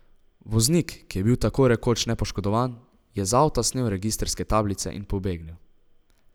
Voznik, ki je bil tako rekoč nepoškodovan, je z avta snel registrske tablice in pobegnil.